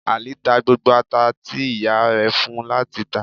Ali ta gbógbó atá ti iyá rẹ fún u lati tà.